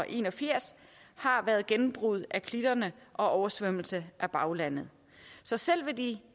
en og firs har været gennembrud af klitterne og oversvømmelser af baglandet så selv de